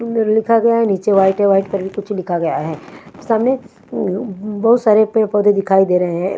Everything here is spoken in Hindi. उँम लिखा गया हैं नीचे वाईट है वाईट पर भी कुछ लिखा गया है सामने उँ उँ बहुत सारे पेड़-पौधे दिखाई दे रहे हैं।